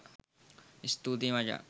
ස්තුතියි මචං